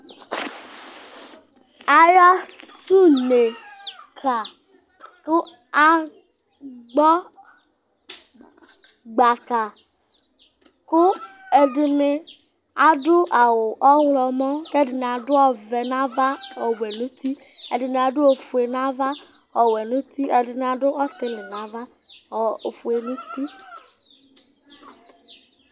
Aya sɛ une ka ,kʋ akpɔ gbaka ;kʋ ɛdɩnɩ adʋ awʋ ɔɣlɔmɔ,k' ɛdɩnɩ adʋ cvɛ n' ava ɔwɛ nʋ uti, ɛdɩnɩ adʋ ɔtɩlɩ n' ava ofue nʋ uti